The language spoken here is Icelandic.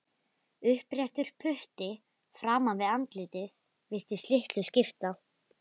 Uppréttur putti framan við andlitið virtist litlu skipta.